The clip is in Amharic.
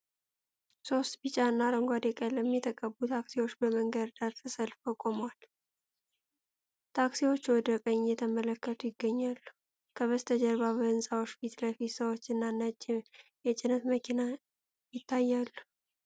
ሶስት ቢጫና አረንጓዴ ቀለም የተቀቡ ታክሲዎች በመንገድ ዳር ተሰልፈው ቆመዋል። ታክሲዎቹ ወደ ቀኝ እየተመለከቱ ይገኛሉ፤ ከበስተጀርባ በህንጻዎች ፊት ለፊት ሰዎች እና ነጭ የጭነት መኪና ይታያሉ።